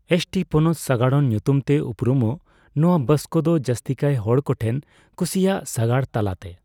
ST ( ᱯᱚᱱᱚᱛ ᱥᱟᱜᱟᱲᱚᱱ ) ᱧᱩᱛᱩᱢ ᱛᱮ ᱩᱯᱨᱩᱢᱚᱜ ᱱᱚᱱᱟ ᱵᱟᱥ ᱠᱚᱫᱚ ᱡᱟᱹᱥᱛᱤ ᱠᱟᱭ ᱦᱚᱲ ᱠᱚ ᱴᱷᱮᱱ ᱠᱩᱥᱤᱭᱟᱜ ᱥᱟᱜᱟᱲ ᱛᱟᱞᱟᱛᱮ ᱾